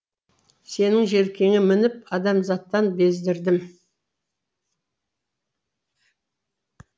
сенің желкеңе мініп адамзаттан бездірдім